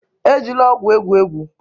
Ejila ọgwụ egwu egwu!